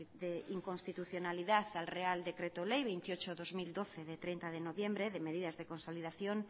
de inconstitucionalidad al real decreto ley veintiocho barra dos mil doce de treinta de noviembre de medidas de consolidación